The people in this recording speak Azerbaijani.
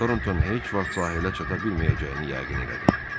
Torton heç vaxt sahilə çata bilməyəcəyini yəqin elədi.